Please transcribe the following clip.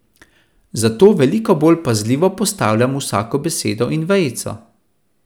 Zato veliko bolj pazljivo postavljam vsako besedo in vejico.